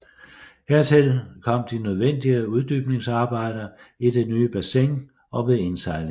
Hertil kom de nødvendige uddybningsarbejder i det nye bassin og ved indsejlingen